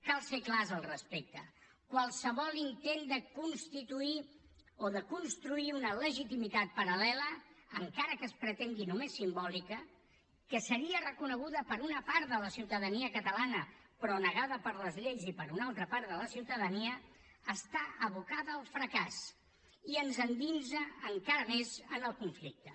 cal ser clars al respecte qualsevol intent de constituir o de construir una legitimitat paral·lela encara que es pretengui només simbòlica que seria reconeguda per una part de la ciutadania catalana però negada per les lleis i per una altra part de la ciutadania està abocada al fracàs i ens endinsa encara més en el conflicte